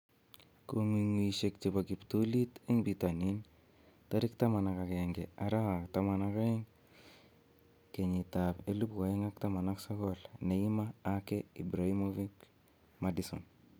Kong'unguyosiek chebo kiptulit en bitonin 11/12/2019: Neymar, Ake, Ibrahimovic, Maddison